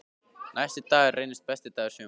Næsti dagur reynist besti dagur sumarsins.